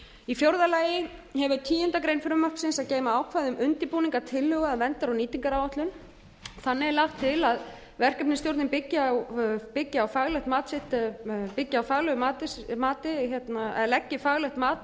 í fjórða lagi hefur tíundu greinar frumvarpsins að geyma ákvæði um undirbúning að tillögu að verndar og nýtingaráætlun þannig er lagt til að verkefnisstjórnin byggi á faglegu mati eða leggi faglegt mat